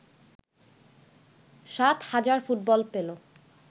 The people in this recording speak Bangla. ৭ হাজার ফুটবল পেল